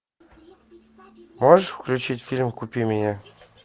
можешь включить фильм купи меня